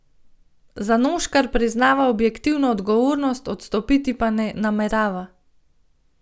Zanoškar priznava objektivno odgovornost, odstopiti pa ne namerava.